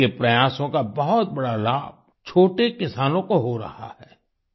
इनके प्रयासों का बहुत बड़ा लाभ छोटे किसानों को हो रहा है